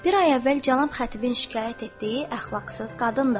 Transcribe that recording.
Bir ay əvvəl cənab xətibin şikayət etdiyi əxlaqsız qadındır.